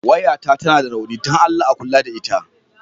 Wayata tana da rauni don Allah a kula da ita.